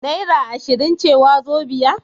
Naira ashirin ce wazobia?